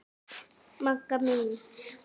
Magga mín.